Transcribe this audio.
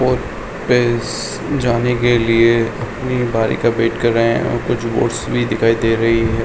और इस जाने के लिए अपनी बारी का वेट कर रहे हैं और कुछ बोट्स भी दिखाई दे रही है।